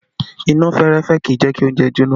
Iná fẹ́rẹ́fẹ́ kì í jẹ kí oúnjẹ jóná